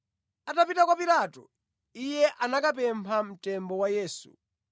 Atapita kwa Pilato, iye anakapempha mtembo wa Yesu.